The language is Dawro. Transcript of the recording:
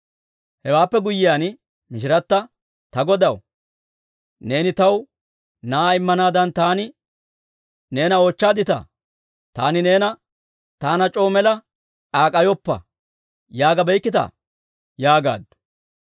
Hewaappe guyyiyaan mishirata, «Ta godaw, neeni taw na'aa immanaadan taani neena oochchaadditaa? Taani neena, ‹Taana c'oo mela k'aak'k'ayoppa› yaagabeykkita?» yaagaaddu.